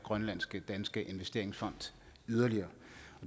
grønlandsk danske investeringsfond yderligere